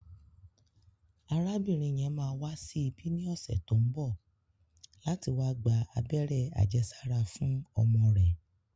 Arábìnrin yẹn máa wá sí ibí ní ọ̀sẹ̀ tó ń bọ̀ láti wá gba abẹ́rẹ́ àjẹsára fún ọmọ rẹ̀